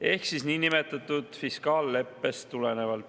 … ehk tulenevalt niinimetatud fiskaalleppest.